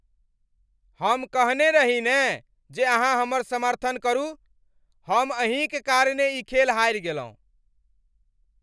हम कहने रही ने जे अहाँ हमर समर्थन करू। हम अहीं क कारणेँ ई खेल हारि गेलहुँ!